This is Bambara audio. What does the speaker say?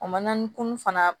O ma na ni kunun fana